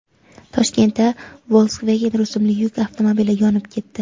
Toshkentda Volkswagen rusumli yuk avtomobili yonib ketdi.